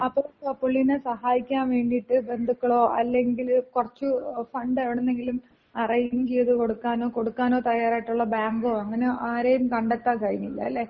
അപ്പം, ഈ പുള്ളീനെ സഹായിക്കാൻ വേണ്ടിയിട്ട് ബന്ധുക്കളോ അല്ലെങ്കില് കൊറച്ച് ഫണ്ട് എവിട്ന്നെങ്കിലും അറേഞ്ച് ചെയ്ത് കൊടുക്കാനോ, കൊടുക്കാനോ തയ്യാറായിട്ടുള്ള ബാങ്കോ അങ്ങനെ ആരെയും കണ്ടെത്താ കഴിഞ്ഞില്ല. അല്ലെ?